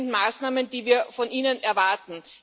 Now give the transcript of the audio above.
Das sind Maßnahmen, die wir von Ihnen erwarten.